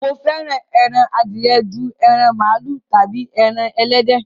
Mo fẹ́ran ẹran àdìẹ̀ jù ẹran malu tábí ẹran ẹlẹdẹ.